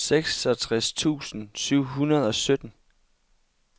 seksogtres tusind syv hundrede og sytten